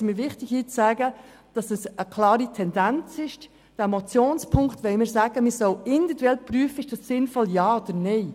Wir müssen am Ball bleiben und der GEF den Rücken stärken.